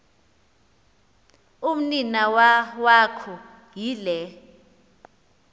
umninawa wakho yile